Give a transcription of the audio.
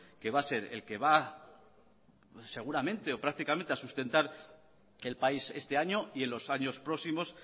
que va a ser el que seguramente o prácticamente va a sustentar que el país este año y en los años próximos